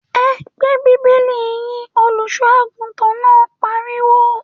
‘E̩ gbé bíbélì yín!’, olùs̩ó̩-àgùntàn náà pariwo